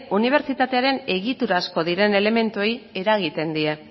unibertsitatearen egiturazko diren elementuei eragiten die